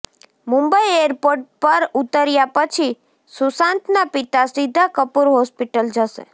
Mumbai airport પર ઉતર્યા પછી સુશાંતના પિતા સીધા કૂપર હોસ્પિટલ જશે